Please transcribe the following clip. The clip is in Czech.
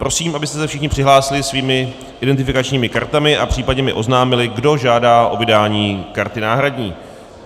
Prosím, abyste se všichni přihlásili svými identifikačními kartami a případně mi oznámili, kdo žádá o vydání karty náhradní.